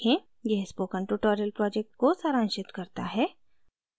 यह spoken tutorial project को सारांशित करता है